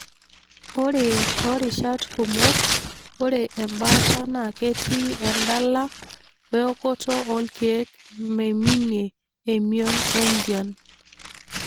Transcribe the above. Ore torishat kumok, ore embaata na ketii endala we okoto olkeek meiminie emion wenjian.